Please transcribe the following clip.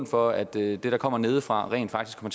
for at det der kommer nedefra rent faktisk